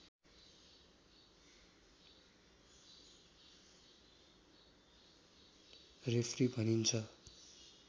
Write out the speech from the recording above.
referee भनिन्छ